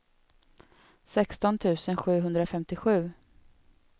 sexton tusen sjuhundrafemtiosju